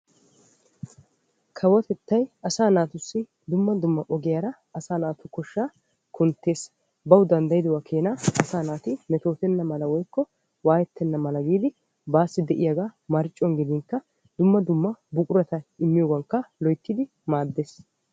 Kawotettay dumma dumma ogiyaara asaa naatu koshshaa kunttees. bawu danddayidogaa keenaa asaa naati metootenna mala woykko waayettena mala giidi baasi de'iyaagaa marccuwaan gidinkka dumma dumma buqurata immiyoogan loyttidi maaddees.